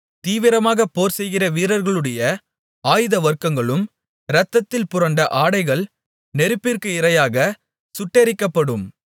தீவிரமாகப் போர்செய்கிற வீரர்களுடைய ஆயுதவர்க்கங்களும் இரத்தத்தில் புரண்டஆடைகள் நெருப்பிற்கு இரையாகச் சுட்டெரிக்கப்படும்